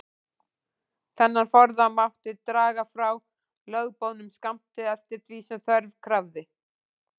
Þennan forða mátti draga frá lögboðnum skammti, eftir því sem þörf krafði.